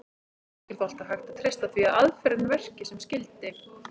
Ekki er þó alltaf hægt að treysta því að aðferðin verki sem skyldi.